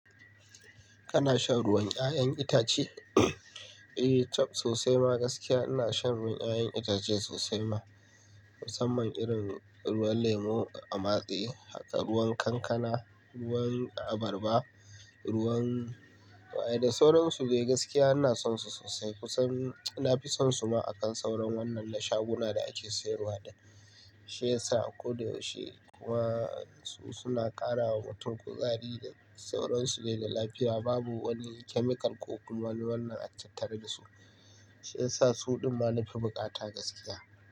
Kana shan ruwan 'ya'yan itace? Eh, ta sosai ma gaskiya ina shan ruwan 'ya'yan itace sosai ma. Kusan man irin ruwan lemu a matse, haka ruwan kankana, ruwan abarba, ruwan wai da sauransu. Gaskiya ina son su sosai kusan na fi son su ma akan sauran wannan na shaguna da ake sayarwa da shi ya sa ko da yaushe kuwa su suna ƙara wa mutum kuzari da sauransu dai da lafiya. Babu wani chemical ko wani wannan a tattare da su, shi ya sa suɗin ma na fi buƙata gaskiya.